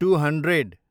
two hundred